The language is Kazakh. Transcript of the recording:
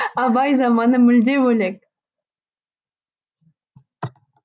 абай заманы мүлде бөлек